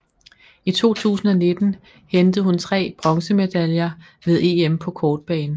I 2019 hentede hun tre bronzemedaljer ved EM på kortbane